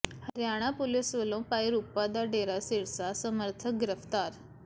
Haryana police ਵੱਲੋਂ ਭਾਈਰੂਪਾ ਦਾ ਡੇਰਾ ਸਿਰਸਾ ਸਮਰਥਕ ਗਿ੍ਫ਼ਤਾਰ